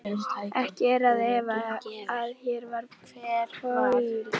Ekki er að efa, að hér var Paul